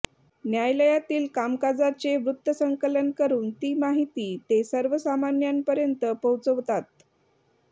न्यायालयातील कामकाजाचे वृत्तसंकलन करून ती माहिती ते सर्वसामान्यांपर्यंत पोहोचवतात